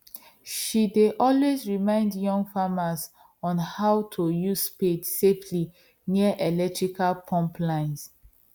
she dey always remind young farmers on how to use spade safely near electrical pump lines